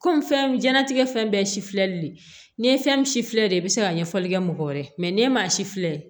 Kɔmi fɛn di ɲɛna fɛn bɛɛ ye sifili de ye n'i ye fɛn min si filɛ nin ye i bɛ se ka ɲɛfɔli kɛ mɔgɔ wɛrɛ ye n'e ma si filɛ